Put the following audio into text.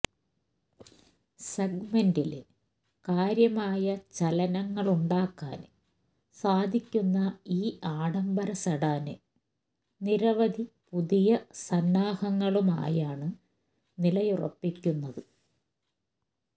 സെഗ്മെന്റില് കാര്യമായ ചലനങ്ങളുണ്ടാക്കാന് സാധിക്കുന്ന ഈ ആഡംബര സെഡാന് നിരവധി പുതിയ സന്നാഹങ്ങളുമായാണ് നിലയുറപ്പിക്കുന്നത്